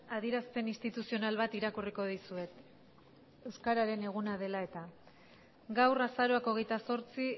adierazpen instituzional bat irakurriko dizuet euskararen eguna dela eta gaur azaroak hogeita zortzi